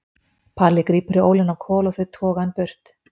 Palli grípur í ólina á Kol og þau toga hann burt.